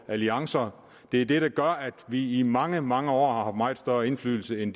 alliancer det er det der gør at vi i mange mange år har haft meget stor indflydelse i